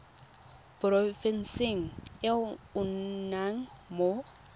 porofenseng e o nnang mo